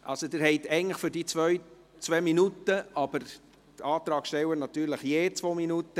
Eigentlich haben Sie für die beiden Motionen 2 Minuten Redezeit zur Verfügung, die Antragsteller haben natürlich je 2 Minuten.